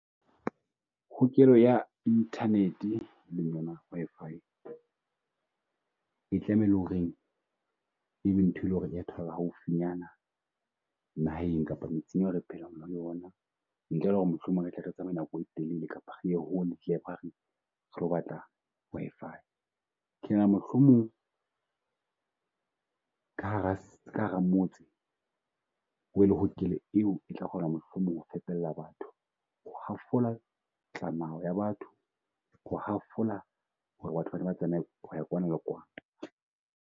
Hokelo ya internet Wi-Fi e tlamehile e le ho reng e be ntho e leng ho reng haufinyana naheng kapa metseng e re phelang ho yona. Ntle le ho re mohlomong re tla re tsamaye nako e telele kapa re ye e batla Wi-Fi. Ke nahana mohlomong ka hara ka hara motse ho be le hokelo e o e tla kgona mohlomong ho batho. Ho hafola ya batho, ho hafola ho re batho ba ne ba tsamaye ho ya kwana le kwana.